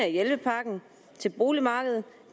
hjælpepakken til boligmarkedet